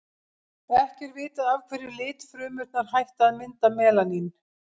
ekki er vitað af hverju litfrumurnar hætta að mynda melanín